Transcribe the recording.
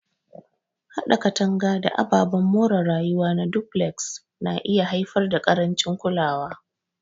Haɗa katanga da ababen more rayuwa na duflex na iya haifar da ƙarancin kulawa.